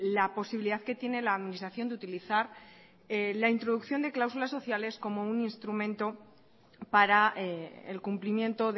la posibilidad que tiene la administración de utilizar la introducción de cláusulas sociales como un instrumento para el cumplimiento